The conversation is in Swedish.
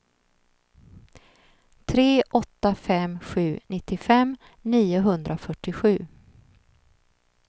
tre åtta fem sju nittiofem niohundrafyrtiosju